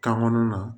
Kan kɔnɔna na